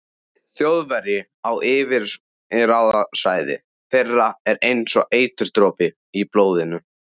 Þjóðverji á yfirráðasvæði þeirra er einsog eiturdropi í blóðinu.